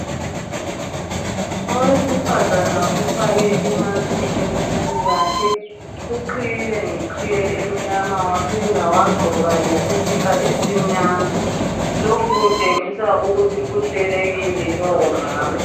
Owesifazane ufake i"mask" ebusweni bakhe, uqhiyile ngeqhiye emnyama waphinda wagqoka lesikipa esimnyama. Lokhu kutshengisa ukuthi uhlelekile lowo mama.